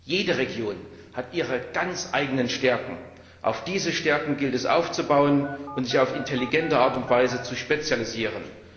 Jede Region hat ihre ganz eigenen Stärken. Auf diese Stärken gilt es aufzubauen und sich auf intelligente Art und Weise zu spezialisieren.